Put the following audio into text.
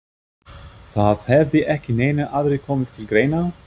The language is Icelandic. Það hefði ekki neinir aðrir komið til greina?